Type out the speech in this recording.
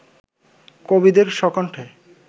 কবিদের স্বকণ্ঠে